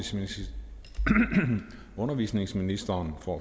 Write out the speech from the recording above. undervisningsministeren får